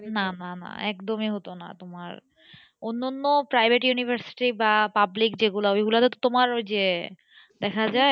না না না একদমই হতো না তোমার অন্যান্য private university বা public যেগুলো ওইগুলোতে তো তোমার ওই যে দেখা যায়,